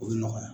O bɛ nɔgɔya